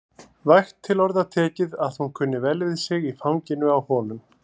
Vægt til orða tekið að hún kunni vel við sig í fanginu á honum.